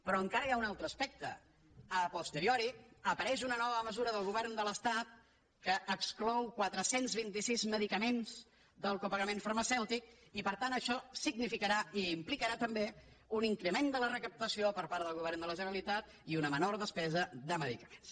però encara hi ha un altre aspecte a posteriorireix una nova mesura del govern de l’estat que exclou quatre cents i vint sis medicaments del copagament farmacèutic i per tant això significarà i implicarà també un increment de la recaptació per part del govern de la generalitat i una menor despesa de medicaments